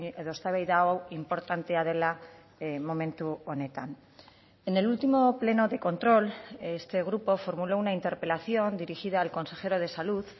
edo eztabaida hau inportantea dela momentu honetan en el último pleno de control este grupo formuló una interpelación dirigida al consejero de salud